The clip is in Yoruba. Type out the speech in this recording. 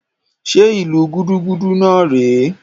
Njẹ ìlu gudugudu náà rè é?